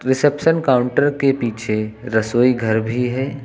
Reception counter के पीछे रसोई घर भी है।